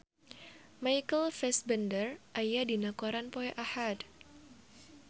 Michael Fassbender aya dina koran poe Ahad